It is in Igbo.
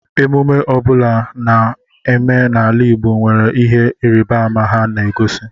Emume ọ bụla ana eme n'ala Igbo nwere ihe ịrịbama ha na-egosi.